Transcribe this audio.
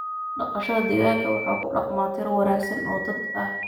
Dhaqashada digaaga waxaa ku dhaqma tiro wanaagsan oo dad ah.